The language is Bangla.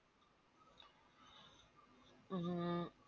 হুম